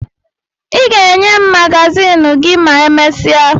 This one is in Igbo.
Ị ga-enye m magazin gị ma emesịa